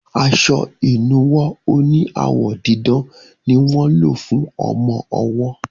aṣọ inuwo òní awọ didán ní wọ ló fún ọmọ ọwo.